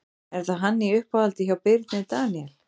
Er hann í uppáhaldi hjá Birni Daníel?